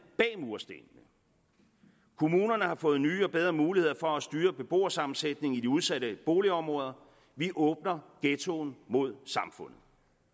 bag murstenene kommunerne har fået nye og bedre muligheder for at styre beboersammensætningen i de udsatte boligområder vi åbner ghettoen mod samfundet